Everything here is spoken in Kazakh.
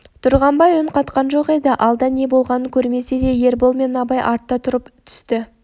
тұрғанбай үн қатқан жоқ еді алда не болғанын көрмесе де ербол мен абай артта тұрып түсті